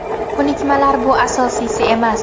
Ko‘nikmalar bu asosiysi emas.